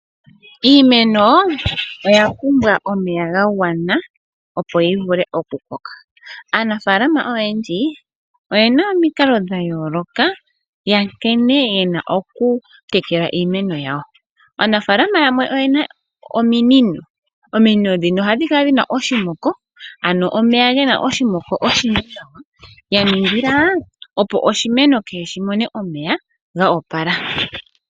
Iimeno oya pumbwa omeya gagwana opo yi vule oku koka. Aanafaalama oyendji oyena omikalo dha yooloka nkene yena oku tekela iimeno yawo. Aanafaalama yamwe oyena ominino. Ominino ndhino ohadhi kala dhina oshimoko ano omeya gena oshimoko oshindji nawa yaningila opo oshimeno kehe shimone omeya ga opala.